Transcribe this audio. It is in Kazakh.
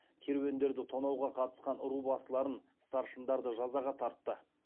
керуендерді тонауға қатысқан ру басыларын старшындарды жазаға тартты